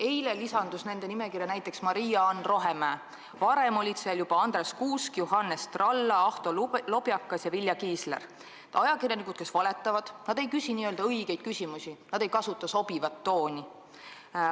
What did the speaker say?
Eile lisandus nende nimekirja Maria-Ann Rohemäe, varem olid seal juba Andres Kuusk, Johannes Tralla, Ahto Lobjakas ja Vilja Kiisler, need ajakirjanikud valetavad, nad ei küsi õigeid küsimusi, nad ei kasuta sobivat tooni.